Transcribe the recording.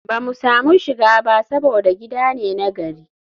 ba mu samu shiga ba saboda gida ne na gari